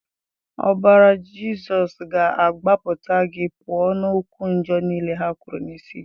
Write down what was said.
Ọbara Jizọs ga agbapụta gị pụọ na okwu ọjọ nile ha kwuru n'isi gị.